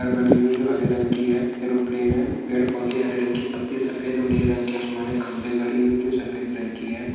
घर बने हुए है जो हरे रंग की है ऐरोप्लेन है पेड़ पौधे हरे रंग के पत्ते सफेद और नीले रंग के आसमानी खंभे गड़े हुए है जो सफेद रंग की है।